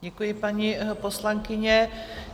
Děkuji, paní poslankyně.